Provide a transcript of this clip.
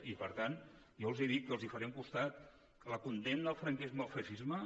i per tant jo els dic que els farem costat en la condemna al franquisme i al feixisme